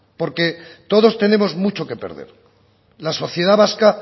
porque todos tenemos mucho que perder la sociedad vasca